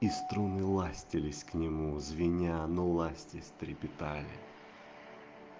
и струны ластились к нему звеня ну ластясь трепетали